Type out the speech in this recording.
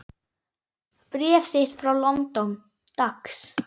Bréf þitt frá London, dags.